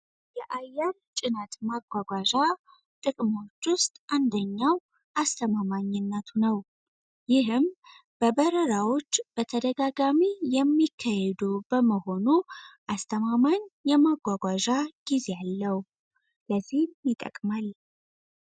የአያን ጭነት ማጓጓዣ ጥቅሞች ውስጥ አንደኛው አስተማማኝነቱ ነው። ይህም በበረራዎች በተደጋጋሚ የሚካሄዱ በመሆኑ አስተማማኝ የማጓጓዣ ጊዜ አለው። ለዚህም ይጠቅማል።